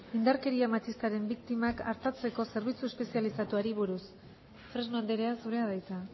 indarkeria matxistaren biktimak artatzeko zerbitzu espezializatuari buruz fresno andrea zurea da hitza